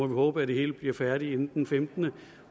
håbe at det hele bliver færdigt inden den 15